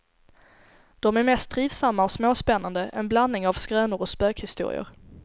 De är mer trivsamma och småspännande, en blandning av skrönor och spökhistorier.